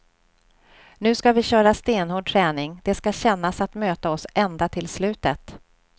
Nu ska vi köra stenhård träning, det ska kännas att möta oss ända till slutet.